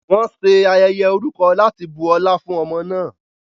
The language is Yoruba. Wọ́n ṣe ayẹyẹ orúkọ láti bu ọlá fún ọmọ náà.